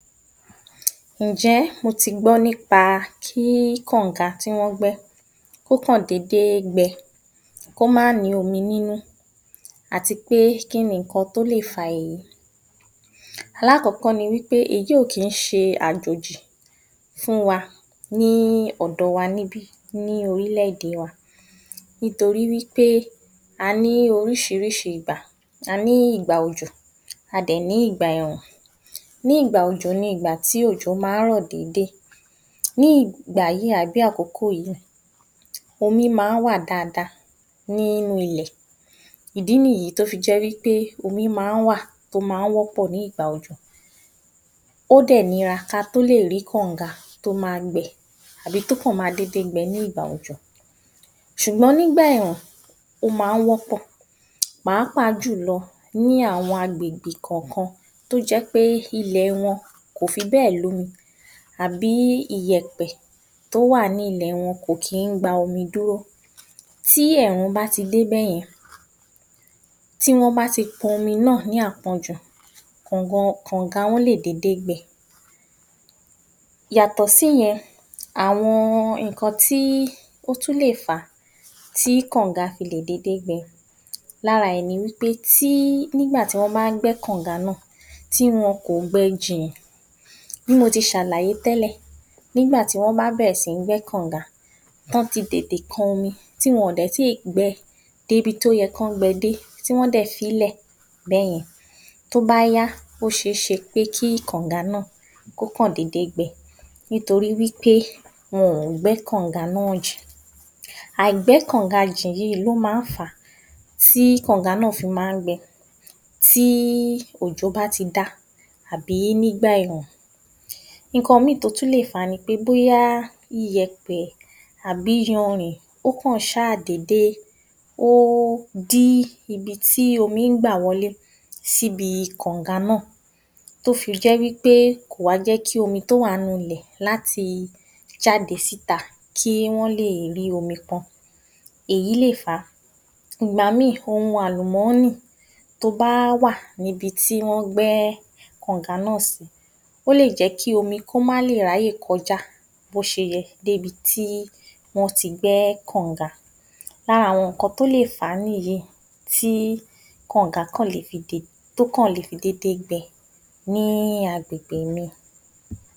Ǹjé̩ o ti gbọ́ nípa kí kànǹga kó kàn dédé gbe̩ kó má ní omi nínú àti pé kí ni nǹkan tó lè fa èyí? Alákò̩ó̩kọ́ ni wí pé èyí ò kí ń s̩e àjòjì fún wa ní ò̩dò̩ wa níbí yìí ní orílè̩-èdè wa, nítorí wí pé a ní orís̩irísi ìgbà. A ní ìgbà òjò a dè ní ìgbà è̩è̩rùn. Ní ìgbà òjò ni ìgbà tí òjò máa ń rò̩ déédé. Ní ìgbà yìí àbí àkókò yìí, omi máa ń wà dáadáa nínú ilè̩, ìdí nìyí tí ó fi jé̩ wí pé omi máa ń wà tó máa ń wó̩pò̩ ní ìgbà òjò. Ó dè̩ nira ka tó lè rí kànǹga tó máa gbe̩ àbí tó kàn ma dédé gbe̩ ní ìgbà òjò. S̩ùgbó̩n nígbà è̩è̩rùn, ó máa ń wó̩pò̩, pàápàá jùlo̩ ní àwo̩n agbègbè kò̩ò̩kan tó jé̩ pé ilè̩ wo̩n kò fi bé̩è̩ lómi àbí iyè̩pè̩ tó wà ní ilè̩ wo̩n kò kí ń gba omi dúró. Tí èèrùn bá ti dé bẹ́ye̩n, tí wó̩n bá ti po̩nmi náà ní àpo̩njù kànǹgo̩ kànǹgà wo̩n lè dédé gbé̩. Yàtò̩ síye̩n, àwo̩n nǹkan tí ó tùn lè fà á tí kànǹga fi lè dédé gbé̩ lára rè̩ ni wí pé tí nígbà tí wó̩n bá ń gbé̩ kànǹga náà tí wo̩n kò gbe̩ jìn bí mo ti s̩àlàyé té̩lè̩ nígbà tí wó̩n bá bè̩rè̩ sí ní gbé̩ kànǹga tí wó̩n ti tètè kan omi ti wo̩n ò dè̩ ti gbe̩ débi tó ye̩ kí wó̩n gbe̩ dé tí wó̩n dè̩ fi i lè̩ bé̩ye̩n, tí ó bá yá ó s̩e é s̩e pé kí kànǹga náà kó kàn dédé gbe̩ nítorí wí pé wo̩n ò gbé̩ kànǹga náà jìn. Àìgbé̩ kànǹga jìn yìí ló máa ń fà tí kànǹga náà fi máa ń gbe̩ tí òjò bá ti dá nígbà è̩è̩rùn. Nǹkan mìíì tó tún lè fà á ni pé bóya iyè̩pè̩ àbí iyanrìn ó kàn s̩áà dédé ó dí ibi tí omi ń gba wo̩lé sí ibi kànǹga náà tó fi jé wí pé kò jé̩ kí omi tó wà ninú ilè̩ láti jáde síta kí wó̩n lè rí omi po̩n, èyí lè fà á. Ìgbà míì ohun àlùmó̩nì tó bá wà níbi tí wó̩n gbé̩ kànǹga náà sí ó lè jé̩ kí omi kó má lè ráyè ko̩já bó s̩e yẹ débi tí wó̩n ti gbé̩ kànǹga. Lára àwo̩n nǹkan tó lè fà á nìyí tí kànǹga kan le fi tó kan le fi dédé gbe̩ ní agbègbè mi.